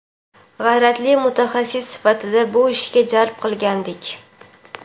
g‘ayratli mutaxassis sifatida bu ishga jalb qilgandik.